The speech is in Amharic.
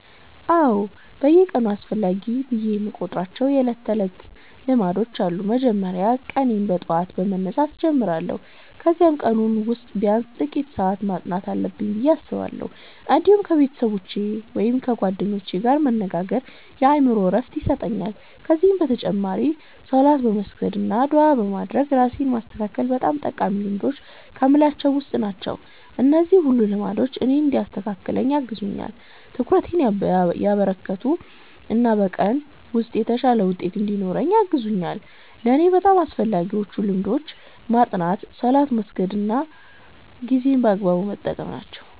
አዎ፣ በየቀኑ አስፈላጊ ብዬ የምቆጥራቸው የዕለት ተዕለት ልማዶች አሉ። በመጀመሪያ ቀኔን በጠዋት በመነሳት እጀምራለሁ፣ ከዚያም በቀኑ ውስጥ ቢያንስ ጥቂት ሰዓት ማጥናት አለብኝ ብዬ አስባለሁ። እንዲሁም ከቤተሰቦቼ ወይም ከጓደኞቼ ጋር መነጋገር የአእምሮ ዕረፍት ይሰጠኛል። ከዚህ በተጨማሪ ሶላት በመስገድ አና ዱዓ በማድረግ ራሴን ማስተካከል በጣም ጠቃሚ ልማዶች ከምላቸዉ ዉስጥ ናቸው። እነዚህ ሁሉ ልማዶች ቀኔን እንዲያስተካክል ያግዙኛል፣ ትኩረቴን ያበረከቱ እና በቀኑ ውስጥ የተሻለ ውጤት እንድኖረኝ ያግዙኛል። ለእኔ በጣም አስፈላጊዎቹ ልማዶች ማጥናት፣ ሶላት መስገድ እና ጊዜን በአግባቡ መጠቀም ናቸው።